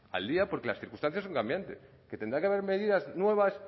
al día porque las circunstancias son cambiantes que tendrá que haber medidas nuevas